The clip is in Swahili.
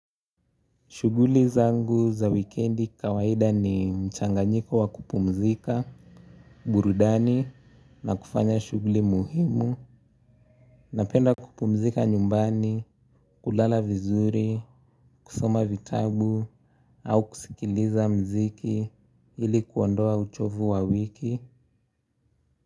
Shughuli zangu za wikendi kawaida ni mchanganyiko wa kupumzika, burudani na kufanya shughuli muhimu. Napenda kupumzika nyumbani, kulala vizuri, kusoma vitabu au kusikiliza mziki ili kuondoa uchovu wa wiki.